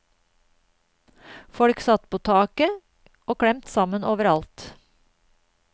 Folk satt på taket, og klemt sammen overalt.